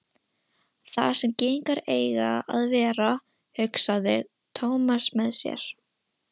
Þar sem gyðingar eiga að vera, hugsaði Thomas með sér.